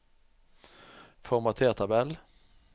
Formater tabell